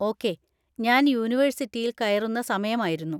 Okay, ഞാൻ യൂണിവേഴ്സിറ്റിയിൽ കയറുന്ന സമയമായിരുന്നു.